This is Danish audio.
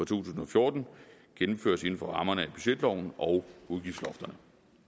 tusind og fjorten gennemføres inden for rammerne af budgetloven og udgiftslofterne